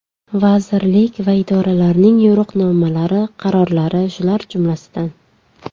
Vazirlik va idoralarning yo‘riqnomalari, qarorlari shular jumlasidan.